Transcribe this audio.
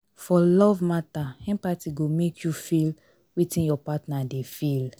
for love matter empathy go make you make you feel wetin your partner dey feel